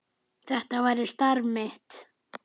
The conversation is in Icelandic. Þetta væri starf mitt.